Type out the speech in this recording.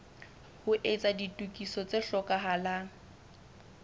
ho etsa ditokiso tse hlokahalang